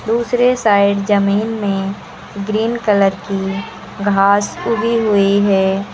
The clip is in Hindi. दूसरे साइड जमीन में ग्रीन कलर की घास उगी हुई है।